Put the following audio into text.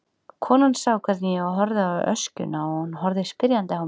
Konan sá hvernig ég horfði á öskjuna og hún horfði spyrjandi á mig.